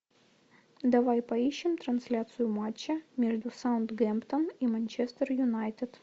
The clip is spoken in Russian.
давай поищем трансляцию матча между саутгемптон и манчестер юнайтед